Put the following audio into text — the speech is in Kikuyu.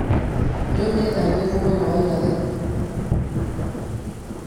Rĩu nĩ thaa irĩkũ mwena wa irathĩro